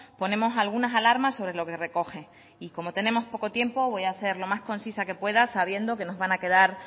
ponemos algunas alarmas sobre lo que recoge y como tenemos poco tiempo voy a ser lo más concisa que pueda sabiendo que nos van a quedar